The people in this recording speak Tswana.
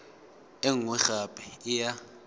e nngwe gape e ya